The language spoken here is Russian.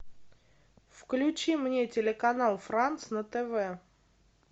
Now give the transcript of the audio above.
включи мне телеканал франс на тв